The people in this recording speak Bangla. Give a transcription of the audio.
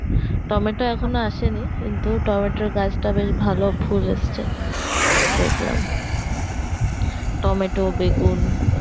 টমেটো এখনো আসেনি কিন্তু টমেটোর গাছটা বেশ ভালো ফুল এসেছে দেখলাম টমেটো বেগুন